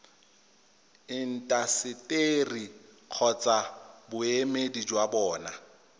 intaseteri kgotsa boemedi jwa bona